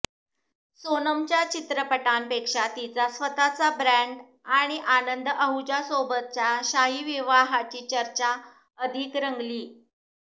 सोनमच्या चित्रपटांपेक्षा तिचा स्वतःचा ब्रँड आणि आनंद आहुजासोबतच्या शाही विवाहाची चर्चा अधिक रंगली